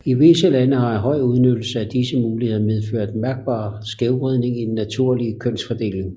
I visse lande har en høj udnyttelse af disse muligheder medført en mærkbar skævvridning i den naturlige kønsfordeling